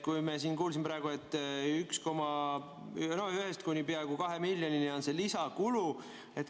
Me siin kuulsime praegu, et 1 miljonist kuni peaaegu 2 miljonini on see lisakulu.